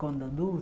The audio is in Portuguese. Quando